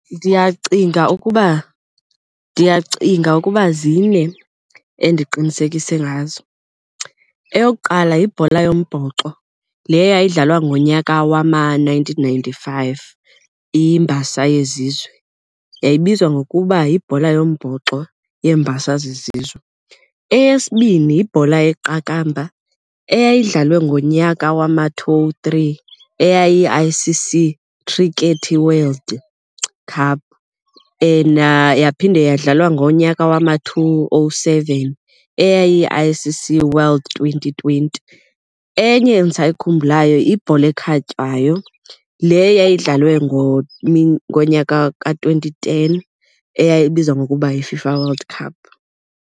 Ndiyacinga ukuba ndiyacinga ukuba zine endiqinisekise ngazo. Eyokuqala yibhola yombhoxo le eyayidlalwa ngonyaka wama-nineteen ninety-five, iMbasa yezizwe, yayibizwa ngokuba yiBhola yoMbhoxo yeeMbasa zeZizwe. Eyesibini yibhola yeqakamba eyayidlalwe ngonyaka wama-two oh three eyayi-I_C_C Cricket World Cup and yaphinde yadlalwa ngonyaka wama-two oh seven eyayiyi-I_C_C World Twenty Twenty. Enye endisayikhumbulayo yibhola ekhatywayo le yayidlalwe ngonyaka ka-twenty ten eyayibizwa ngokuba yiFIFA World Cup.